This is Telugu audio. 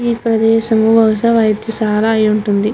ఈ ప్రదేశము చాలా వైజాగ్ --